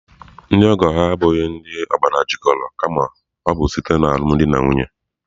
Ndị ọgọ ha abụghị ndị obars jikoro kama ọ bụ site alumdi na nwunye.